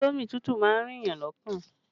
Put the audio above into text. Indomi tútù má ń rin èèyàn lọ́kàn